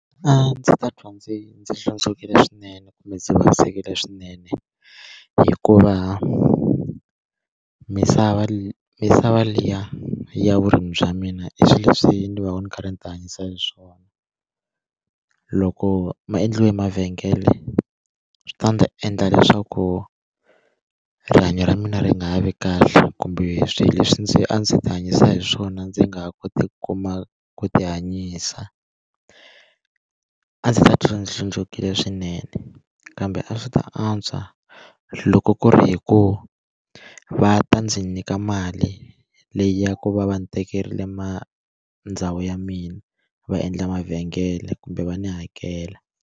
A ndzi ta twa ndzi ndzi hlundzukile swinene kumbe ndzi vavisekile swinene hikuva misava misava liya ya vurimi bya mina i swilo leswi ndzi va ndzi karhi ndzi ti hanyisa hi swona loko ma endliwe mavhengele swi ta ndzi ta endla leswaku rihanyo ra mina ri nga ha vi kahle kumbe swilo leswi ndzi a ndzi ti hanyisa hi swona ndzi nga ha koti ku kuma ku ti hanyisa a ndzi ta titwa ndzi hlundzukile swinene kambe a swi ta antswa loko ku ri hikuva va ta ndzi nyika mali leyi ya ku va va ndzi tekerile ma ndhawu ya mina va endla mavhengele kumbe va ni hakela.